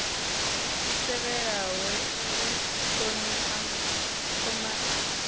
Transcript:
i tevhelaho ya u thomai